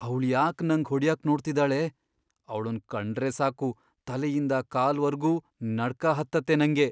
ಅವ್ಳ್ ಯಾಕ್ ನಂಗ್ ಹೊಡ್ಯಕ್ ನೋಡ್ತಿದಾಳೆ?! ಅವ್ಳುನ್ ಕಂಡ್ರೇ ಸಾಕು, ತಲೆಯಿಂದ ಕಾಲ್ವರ್ಗೂ ನಡ್ಕ ಹತ್ತತ್ತೆ ನಂಗೆ.